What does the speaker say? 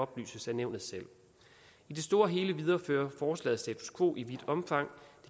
belyses af nævnet selv i det store hele viderefører forslaget status quo i vidt omfang